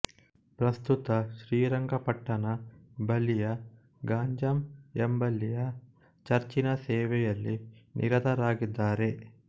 ಪ್ರಸ್ತುತ ಶ್ರೀರಂಗಪಟ್ಟಣ ಬಳಿಯ ಗಂಜಾಂ ಎಂಬಲ್ಲಿಯ ಚರ್ಚಿನ ಸೇವೆಯಲ್ಲಿ ನಿರತರಾಗಿದ್ದಾರೆ